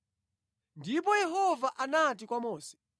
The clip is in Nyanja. Ndipo Yehova anati kwa Mose,